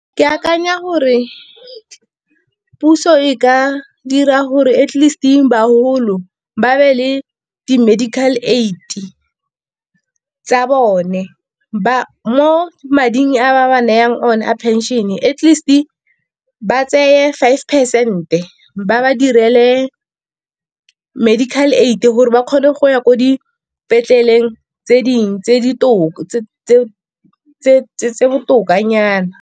Ke akanya gore puso e ka dira gore at least bagolo ba be le di-medical aid tsa bone. Mo mading a ba ba nayang one a pension at least ba tseye five percent ba ba direle medical aid, gore ba kgone go ya ko dipetleleng tse dingwe tse botokanyana.